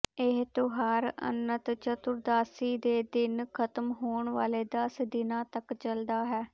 ਇਹ ਤਿਉਹਾਰ ਅਨੰਤ ਚਤੁਰਦਾਸ਼ੀ ਦੇ ਦਿਨ ਖਤਮ ਹੋਣ ਵਾਲੇ ਦਸ ਦਿਨਾਂ ਤੱਕ ਚਲਦਾ ਹੈ